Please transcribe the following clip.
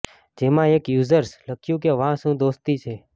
જેમાં એક યુઝર્સ લખ્યુ કે વાહ શું દોસ્તી છે